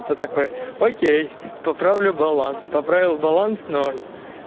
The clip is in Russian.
кто такой окей поправлю баланс поправил баланс ноль